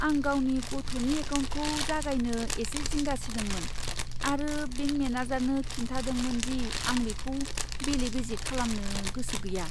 आं गावनि गथ'नि एकाउन्टखौ जागायनो एसे जिंगा सिदोंमोन आरो बेंक मेनेजारनो खिन्थादोंमोन दि आं बेखौ बेले बेजे खालामनो गोसो गैया।